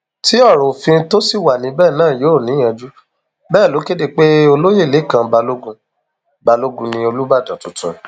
tí ọrọ òfin tó ṣì wà níbẹ náà yóò níyanjú bẹẹ ló kéde pé olóyè lẹkàn balógun balógun ni olùbàdàn tuntun